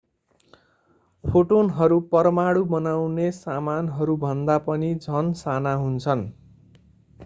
फोटोनहरू परमाणु बनाउने सामानहरू भन्दा पनि झन साना हुन्छन्